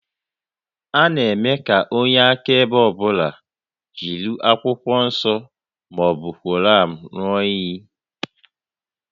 A na-eme ka onye akaebe ọ bụla jiri Akwụkwọ Nsọ ma ọ bụ Koran ṅụọ íyí